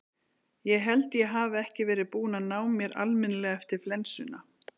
Ég held að ég hafi ekki verið búinn að ná mér almennilega eftir flensuna.